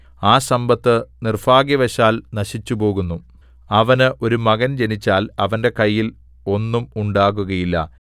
ആ സമ്പത്ത് നിർഭാഗ്യവശാൽ നശിച്ചുപോകുന്നു അവന് ഒരു മകൻ ജനിച്ചാൽ അവന്റെ കയ്യിൽ ഒന്നും ഉണ്ടാകുകയില്ല